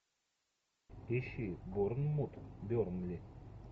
ищи борнмут бернли